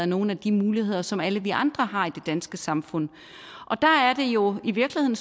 nogle af de muligheder som alle vi andre har i det danske samfund der er det jo i virkeligheden